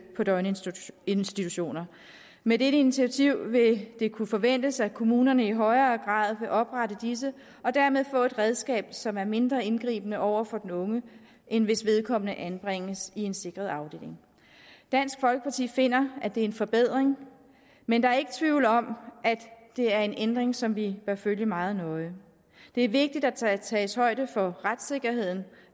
på døgninstitutioner med dette initiativ vil det kunne forventes at kommunerne i højere grad vil oprette disse og dermed få et redskab som er mindre indgribende over for den unge end hvis vedkommende anbringes i en sikret afdeling dansk folkeparti finder at det er en forbedring men der er ikke tvivl om at det er en ændring som vi bør følge meget nøje det er vigtigt at der tages højde for retssikkerheden